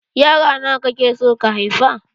Yara nawa kake son ka haifa?